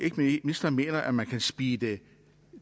ministeren mener at man kan speede